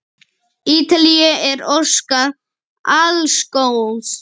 Ítalíu er óskað alls góðs.